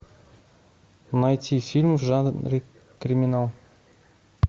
найти фильм в жанре криминал